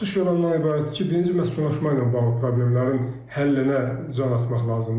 Çıxış yolu ondan ibarətdir ki, birinci məskunlaşma ilə bağlı problemlərin həllinə can atmaq lazımdır.